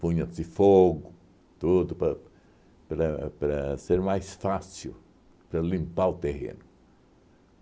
Punha-se fogo, tudo pa para para ser mais fácil, para limpar o terreno.